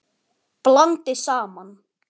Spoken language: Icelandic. Blandið saman.